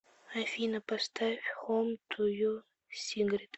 афина поставь хом ту ю сигрид